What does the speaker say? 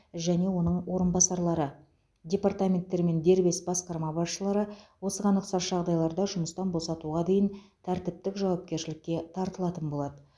және оның орынбасарлары департаменттер мен дербес басқарма басшылары осыған ұқсас жағдайларда жұмыстан босатуға дейін тәртіптік жауапкершілікке тартылатын болады